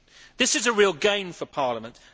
This is a real gain for Parliament.